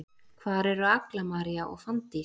Hvar eru Agla María og Fanndís?